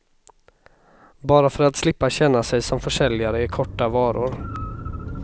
Bara för att slippa känna sig som försäljare i korta varor.